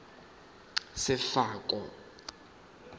sefako